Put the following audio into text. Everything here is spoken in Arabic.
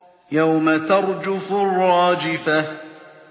يَوْمَ تَرْجُفُ الرَّاجِفَةُ